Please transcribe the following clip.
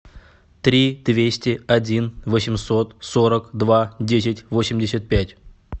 три двести один восемьсот сорок два десять восемьдесят пять